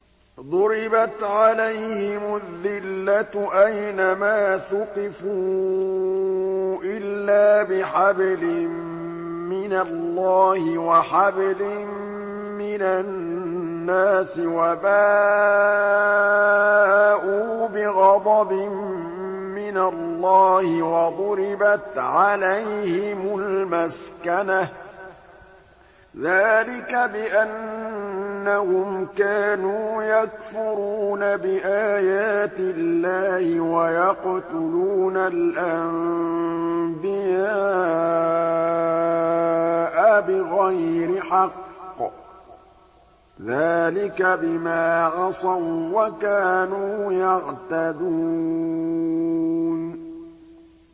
ضُرِبَتْ عَلَيْهِمُ الذِّلَّةُ أَيْنَ مَا ثُقِفُوا إِلَّا بِحَبْلٍ مِّنَ اللَّهِ وَحَبْلٍ مِّنَ النَّاسِ وَبَاءُوا بِغَضَبٍ مِّنَ اللَّهِ وَضُرِبَتْ عَلَيْهِمُ الْمَسْكَنَةُ ۚ ذَٰلِكَ بِأَنَّهُمْ كَانُوا يَكْفُرُونَ بِآيَاتِ اللَّهِ وَيَقْتُلُونَ الْأَنبِيَاءَ بِغَيْرِ حَقٍّ ۚ ذَٰلِكَ بِمَا عَصَوا وَّكَانُوا يَعْتَدُونَ